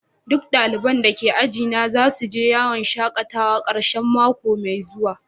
Dukan dalibain da ke aji na za su je yawon shakatawa karshen mako mai zuwa.